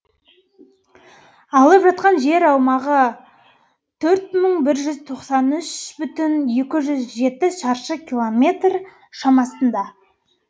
алып жатқан жер аумағы төрт мың бір жүз тоқсан үш бүтін екі жүз жеті шаршы километр шамасында